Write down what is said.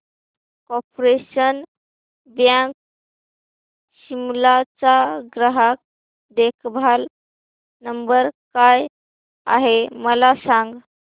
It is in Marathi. कार्पोरेशन बँक शिमला चा ग्राहक देखभाल नंबर काय आहे मला सांग